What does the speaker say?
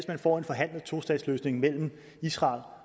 man får en forhandlet tostatsløsning mellem israel